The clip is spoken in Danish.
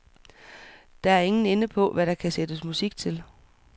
Der er ingen ende på, hvad der kan sættes musik til.